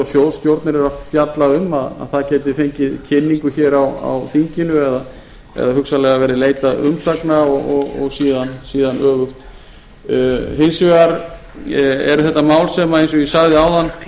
og sjóðsstjórnir eru að fjalla um geti fengið kynningu á þinginu eða hugsanlega verði leitað umsagna og síðan öfugt hins vegar liggja þessi mál ekki eins og ég sagði